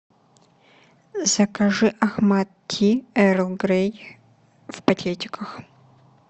закажи ахмад ти эрл грей в пакетиках